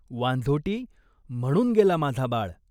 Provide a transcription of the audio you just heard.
वांझोटी, म्हणून गेला माझा बाळ.